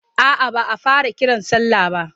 A'a ba a fara kiran sallah ba.